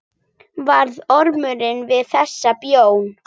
Varð Ormur við þessari bón.